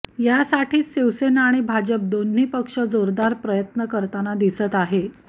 यासाठीच शिवसेना आणि भाजप दोन्ही पक्ष जोरदार प्रयत्न करताना दिसत आहे